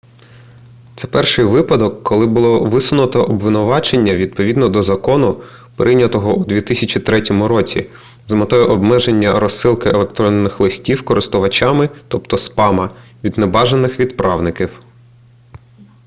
це перший випадок коли було висунуто обвинувачення відповідно до закону прийнятого у 2003 році з метою обмеження розсилки електронних листів користувачам тобто спама від небажаних відправників